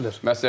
Nə dillər?